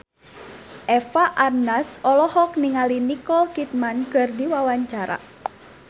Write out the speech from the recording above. Eva Arnaz olohok ningali Nicole Kidman keur diwawancara